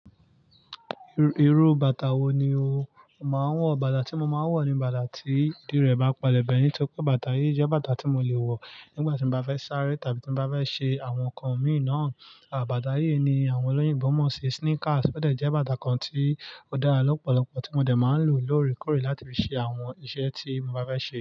Irú bàtà wo ni o máa ń wọ̀? Bàtà tí mo máa ń wọ̀ ni bàtà tí ìdí rẹ̀ bá pẹlẹ̀ bẹ́ẹ̀ nítorí pé bàtà yìí jẹ́ bàtà tí mo lè wọ̀ nígbà tí mo bá fẹ́ sáré tàbí tí mo bá fẹ́ ṣe àwọn nǹkan mìí naa. Àbàtà yìí ni àwọn olóyinbo mọ̀ sí sneakers, ó dẹ̀ jẹ́ bàtà kan tí ó dára lọ́pọ̀lọpọ̀ tí mo dẹ̀ máa ń lò lóòrèkóòrè láti fi ṣe àwọn iṣẹ́ tí mo bá fẹ́ ṣe.